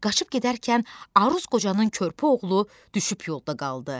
Qaçıb gedərkən Aruz qocanın körpə oğlu düşüb yolda qaldı.